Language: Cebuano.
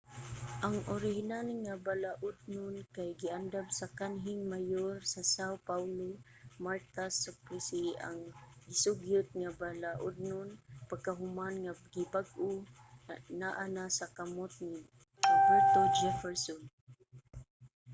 ang orihinal nga balaudnon kay giandam sa kanhing mayor sa são paulo marta suplicy. ang gisugyot nga balaudnon pagkahuman nga gibag-o naa na sa kamot ni roberto jefferson